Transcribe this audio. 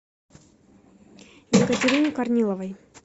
екатерине корниловой